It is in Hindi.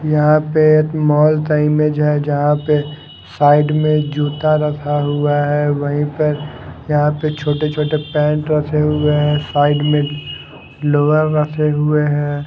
यहां पे एक मॉल ता इमेज है जहां पे साइड में जूता रखा हुआ है वहीं पर यहां पे छोटे छोटे पैंट रखे हुए हैं साइड में लोअर रखे हुए हैं।